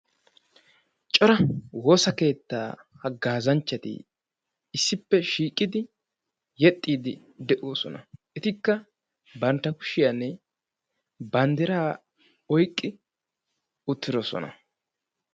Cora woosaa keetta haggazanchchati issippe shiiqid yeexxidi de'oossona. Etikka bantta kushiyaan banddiraa oyqqi uttidoosona.